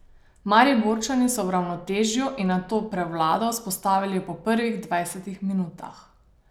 Mariborčani so ravnotežje in nato prevlado vzpostavili po prvih dvajsetih minutah.